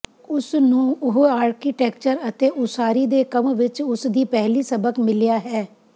ਉਸ ਨੂੰ ਉਹ ਆਰਕੀਟੈਕਚਰ ਅਤੇ ਉਸਾਰੀ ਦੇ ਕੰਮ ਵਿਚ ਉਸ ਦੀ ਪਹਿਲੀ ਸਬਕ ਮਿਲਿਆ ਹੈ